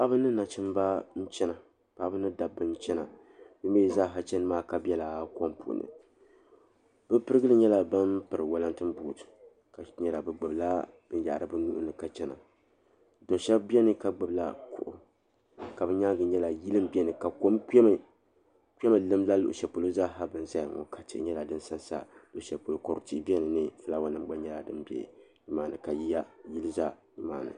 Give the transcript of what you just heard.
Paɣba ni dabba nchana be mi zaa chani maa ka bɛ la kom ni pirigili nyɛla ban piri walantin but shɛb bɛni be gbib la binyahiri be nuuni ka chana do shɛb beni ka gbib la kuɣu be nyaaga nyɛla yili nzaya ka kom kpɛ nlim luɣ shɛli zaa be ni zaya ŋɔ ka tihi nyɛla din za nza nimaa luɣshɛlpolo kodu tihi zala ni ka fulaawa nim gba za nimaa ni